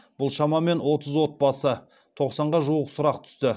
бұл шамамен отыз отбасы тоқсанға жуық сұрақ түсті